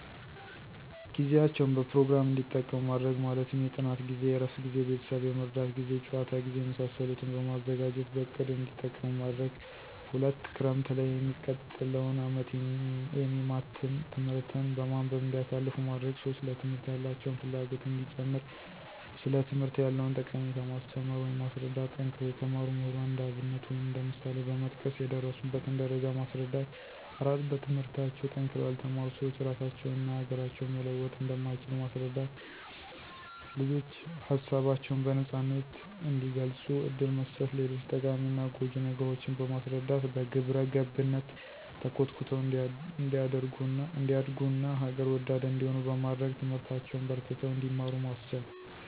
ጊዜያቸዉን በፕሮግራም እዲጠቀሙ ማድረግ። ማለትም የጥናት ጊዜ፣ የእረፍት ጊዜ፣ ቤተሰብ የመርዳት ጊዜ፣ የጨዋታ ጊዜ፣ የመሳሰሉትን በማዘጋጀትበእቅድ እንዲጠቀሙማድረግ። 2)ክረምትላይ የሚቀጥለዉን አመት የሚማትን ትምህርት በማንበብ እንዲያሳልፉ ማድረግ። 3)ለትምህርት ያላቸውን ፍላጎት እንዲጨምር ሥለትምህርት ያለዉንጠቀሜታ ማስተማር ወይም ማስረዳት። ጠንክረው የተማሩ ምሁራን እንደአብነት ወይም እንደ ምሳሌበመጥቀስ የደረሱበትን ደረጃ ማስረዳት። 4)በትምህርታቸዉ ጠንክረዉ ያልተማሩ ስዎች ራሳቸውን እና ሀገራቸውን መለወጥ እንደማይችሉ ማስረዳት። ልጆች ሀሳባቸውን በነጻነት እንዲገልጹ እድል መስጠት። ሌጆች ጠቃሚና ጎጅ ነገሮችን በማስረዳት በግብረገብነት ተኮትኩተው እንዲያደርጉ ና ሀገር ወዳድ እንዲሆኑ በማድረግ ትምህርታቸዉን በርትተው እንዲማሩ ማስቻል።